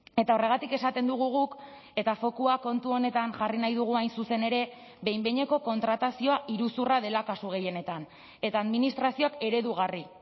eta horregatik esaten dugu guk eta fokua kontu honetan jarri nahi dugu hain zuzen ere behin behineko kontratazioa iruzurra dela kasu gehienetan eta administrazioak eredugarri